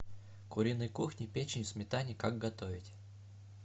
куриной кухни печень в сметане как готовить